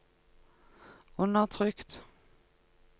undertrykt